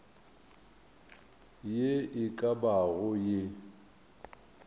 ye e ka bago ye